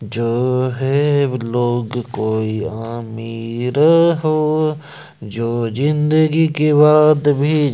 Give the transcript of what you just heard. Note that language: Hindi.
जो है लोग कोई आमीर हो जो जिंदगी के बाद भी--